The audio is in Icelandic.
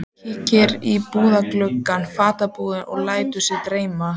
Kíkir í búðarglugga fatabúðanna og lætur sig dreyma.